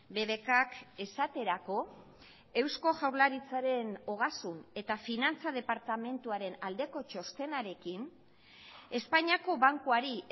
bbkk esaterako eusko jaurlaritzaren ogasun eta finantza departamentuaren aldeko txostenarekin espainiako bankuari